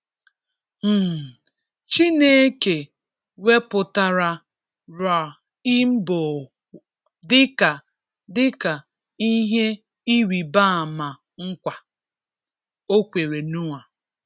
um Chineke wepụtara rainbow dịka dịka ihe ịrịbama nkwa o kwere Noah.